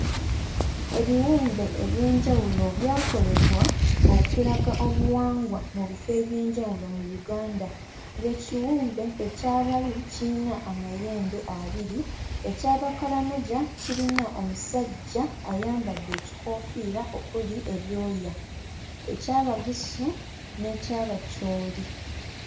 Ebiwumbe eby'enjawulo byakolebwa okulaga obuwangwa mu bifo eby'enjawulo mu Uganda, ng'ekiwumbe ekya Balu kiyina amayembe abiri, eky'Abakalamoja kirina omusajja ayambadde ekikoofiira okuli ebyoya, eky'Abagisu n'eky'Abacholi.